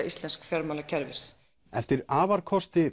íslensks fjármálakerfis eftir afarkosti